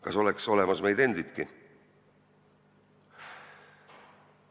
Kas oleks olemas meid endidki?